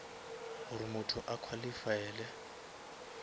gore motho a qualifaele